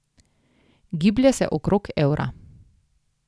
Giblje se okrog evra.